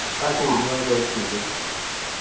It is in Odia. କଣ ପାଇଁ ଯିବୁ ବଡ଼ ସ୍କୁଲକୁ